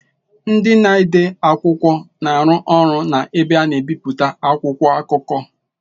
Ndị na-ede akwụkwọ na-arụ ọrụ na ebe a na-ebipụta akwụkwọ akụkọ.